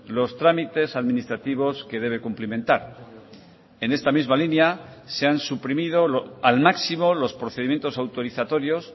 los trámites administrativos que debe cumplimentar en esta misma línea se han suprimido al máximo los procedimientos autorizatorios